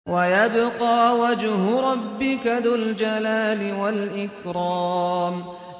وَيَبْقَىٰ وَجْهُ رَبِّكَ ذُو الْجَلَالِ وَالْإِكْرَامِ